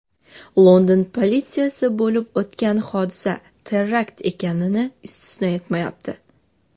London politsiyasi bo‘lib o‘tgan hodisa terakt ekanini istisno etmayapti.